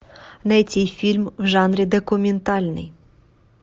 найти фильм в жанре документальный